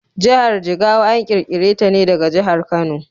Jahar Jigawa an ƙirƙire ta ne daga jahar Kano.